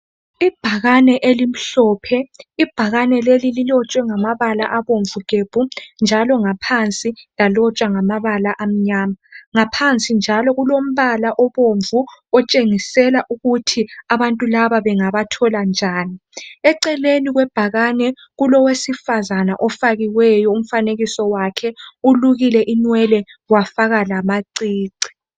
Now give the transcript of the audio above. Ibhakane elimhlophe ibhakane leli lilotshwe ngamabala abomvu gebhu njalo ngaphansi lalotshwa ngamabala amnyama ngaphansi njalo kulombala obombvu otshengisela ukuthi abantu laba bengabathola njani eceleni kwebhakane kulowesifazana ifakiwe umfanekiso wakhe ulukile inwele wafaka lamacici.